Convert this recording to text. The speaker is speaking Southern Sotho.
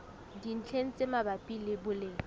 dintlheng tse mabapi le boleng